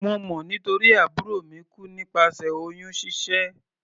Mo mọ̀ nítorí àbúrò mi kú nípasẹ̀ oyún ṣíṣẹ́.